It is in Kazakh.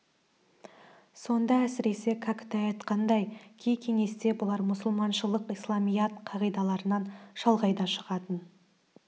сонда әсіресе кәкітай айтқандай кей кеңесте бұлар мұсылманшылық исламият қағидаларынан шалғай да шығатын